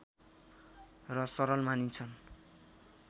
र सरल मानिन्छ